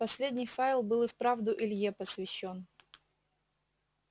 последний файл был и вправду илье посвящён